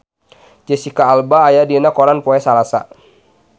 Jesicca Alba aya dina koran poe Salasa